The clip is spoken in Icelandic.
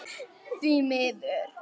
Því miður.